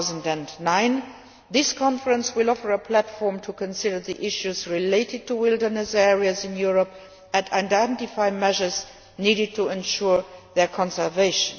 2009. This Conference will offer a platform to consider the issues related to wilderness areas in Europe and identify measures needed to ensure their conservation.